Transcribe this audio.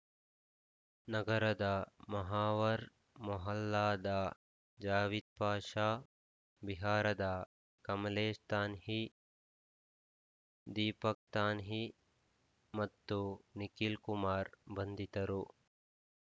ನಗರದ ಮುಹಾ ವರ್‌ ಮೊಹಲ್ಲಾದ ಜಾವಿದ್‌ಪಾಷ ಬಿಹಾರದ ಕಮಲೇಶ್‌ ತಾಹ್ನಿ ದೀಪಕ್‌ತಾಹ್ನಿ ಮತ್ತು ನಿಖಿಲ್‌ಕುಮಾರ್‌ ಬಂಧಿತರು